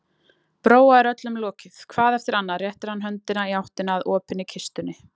Bróa er öllum lokið, hvað eftir annað réttir hann höndina í áttina að opinni kistunni.